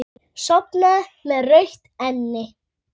Sofnaði með rautt enni.